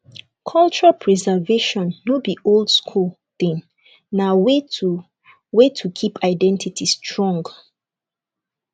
culture preservation no be oldschool thing na way to way to keep identity strong